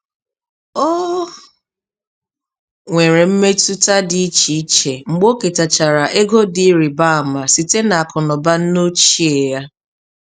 Ọ nwere mmetụta dị iche iche mgbe o ketachara ego dị ịrịbama site n'akụnụba nneochie ya.